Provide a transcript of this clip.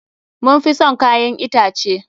Mun fi son kayan itace.